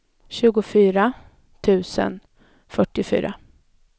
tjugofyra tusen fyrtiofyra